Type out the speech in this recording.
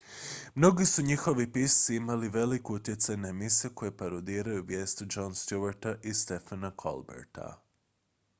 mnogi su njihovi pisci imali velik utjecaj na emisije koje parodiraju vijesti jona stewarta i stephena colberta